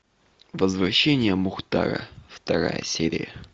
возвращение мухтара вторая серия